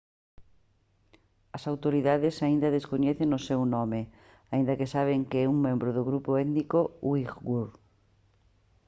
as autoridades aínda descoñecen o seu nome aínda que saben que é un membro do grupo étnico uighur